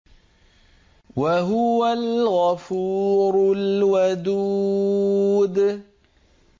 وَهُوَ الْغَفُورُ الْوَدُودُ